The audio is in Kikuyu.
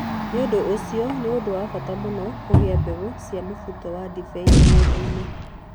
Nĩ ũndũ ũcio, nĩ ũndũ wa bata mũno kũiga mbeũ cia mũbuto wa ndibei mũgũnda-inĩ.